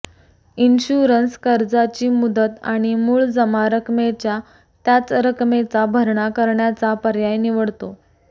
insurance कर्जाची मुदत आणि मूळ जमा रकमेच्या त्याच रक्कमेचा भरणा करण्याचा पर्याय निवडतो